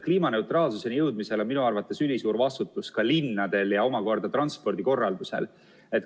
Kliimaneutraalsuseni jõudmisel on minu arvates ülisuur vastutus ka linnadel ja omakorda transpordikorraldusel.